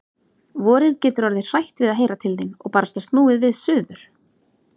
Vorið getur orðið hrætt við að heyra til þín. og barasta snúið við suður.